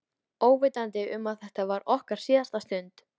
Óvitandi um að þetta var okkar síðasta stund.